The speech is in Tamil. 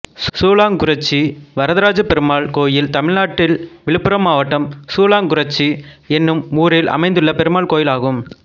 சூளாங்குறிச்சி வரதராஜப்பெருமாள் கோயில் தமிழ்நாட்டில் விழுப்புரம் மாவட்டம் சூளாங்குறிச்சி என்னும் ஊரில் அமைந்துள்ள பெருமாள் கோயிலாகும்